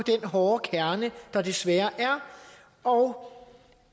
den hårde kerne der desværre er og